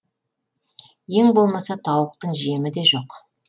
ең болмаса тауықтың жемі де жоқ